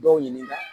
Dɔw ɲininka